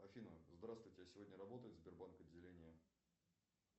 афина здравствуйте а сегодня работает сбербанк отделение